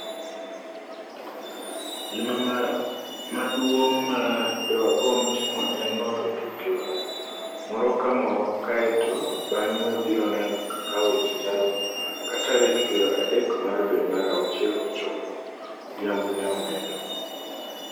Gima maguong' ma dewagomb timo en loyo tuke wa, moro ka moro kaeto bang'e wabiro neno kaka weche chalo ka tarik piero adek mar dwe mar auchiel ochopo," Odhiambo ne omedo.